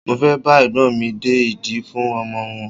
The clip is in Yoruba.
Mo fẹ́ bá Ẹ̀gbọ́n mi de ìdí fún ọmọ wọn.